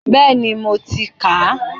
Bẹ́ẹ̀ni, mo ti kà á.